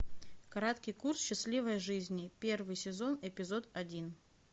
краткий курс счастливой жизни первый сезон эпизод один